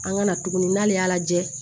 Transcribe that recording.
An ka na tuguni n'ale y'a lajɛ